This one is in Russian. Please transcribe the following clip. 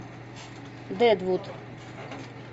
дедвуд